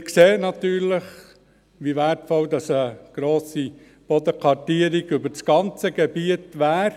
Wir sehen natürlich, wie wertvoll eine grosse Bodenkartierung über das ganze Gebiet wäre.